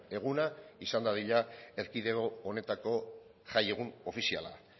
eguna izan dadila erkidego honetako jaiegun ofiziala